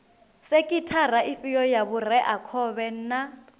sekhithara ifhio ya vhureakhovhe na